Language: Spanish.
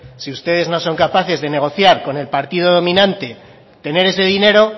si ustedes no son capaces de negociar con el partido dominante tener ese dinero